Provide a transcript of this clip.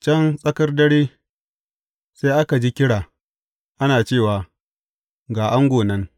Can tsakar dare, sai aka ji kira, ana cewa, Ga ango nan!